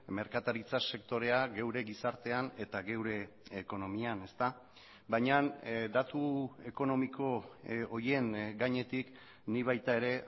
merkataritza sektorea geure gizartean eta geure ekonomian baina datu ekonomiko horien gainetik nik baita ere